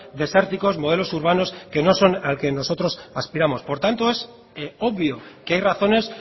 desérticos modelos urbanos que no son al que nosotros aspiramos por tanto es obvio que hay razones